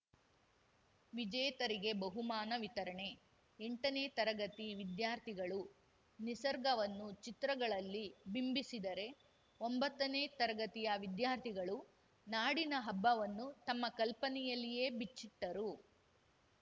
ವಿಜೇತರಿಗೆ ಬಹುಮಾನ ವಿತರಣೆ ಎಂಟನೇ ತರಗತಿ ವಿದ್ಯಾರ್ಥಿಗಳು ನಿಸರ್ಗವನ್ನು ಚಿತ್ರಗಳಲ್ಲಿ ಬಿಂಬಿಸಿದರೆ ಒಂಬತ್ತನೇ ತರಗತಿಯ ವಿದ್ಯಾರ್ಥಿಗಳು ನಾಡಿನ ಹಬ್ಬಗಳನ್ನು ತಮ್ಮ ಕಲ್ಪನೆಯಲ್ಲಿಯೇ ಬಿಚ್ಚಿಟ್ಟರು